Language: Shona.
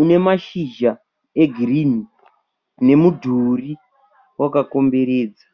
unemashizha egirini, nemudhuri wakakomberedzwa .